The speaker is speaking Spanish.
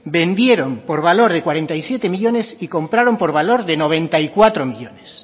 vendieron por valor de cuarenta y siete millónes y compraron por valor de noventa y cuatro millónes